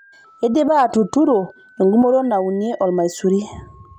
Eidipa atuturo engumoto naunie olmaisuri.